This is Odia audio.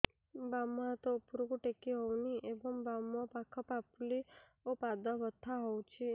ବାମ ହାତ ଉପରକୁ ଟେକି ହଉନି ଏବଂ ବାମ ପାଖ ପାପୁଲି ଓ ପାଦ ବଥା ହଉଚି